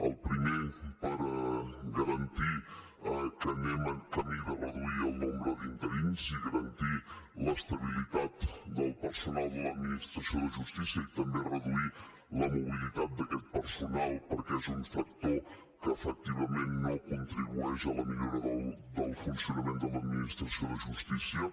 el primer per garantir que anem en camí de reduir el nombre d’interins i garantir l’estabilitat del personal de l’administració de justícia i també reduir la mobilitat d’aquest personal perquè és un factor que efectivament no contribueix a la millora del funcionament de l’administració de justícia